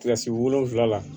Kilasi wolonwula la